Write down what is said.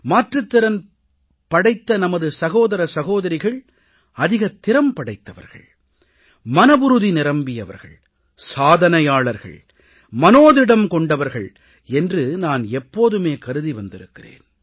மாற்றுத் திறன் படைத்த நமது சகோதர சகோதரிகள் அதிகத் திறன் படைத்தவர்கள் மனவுறுதி நிரம்பியவர்கள் சாதனையாளர்கள் மனோதிடம் கொண்டவர்கள் என்று நான் எப்போதுமே கருதி வந்திருக்கிறேன்